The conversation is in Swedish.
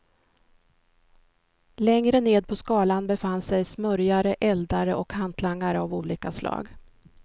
Längre ned på skalan befann sig smörjare, eldare och hantlangare av olika slag.